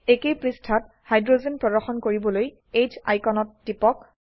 একেই পৃষ্ঠাত হাইড্ৰোজেন প্ৰদৰ্শন কৰিবলৈ H আইকনত টিপক